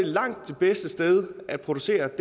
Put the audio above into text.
langt det bedste sted at producere